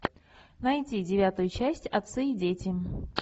найди девятую часть отцы и дети